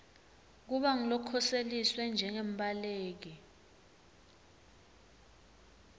kuba ngulokhoseliswe njengembaleki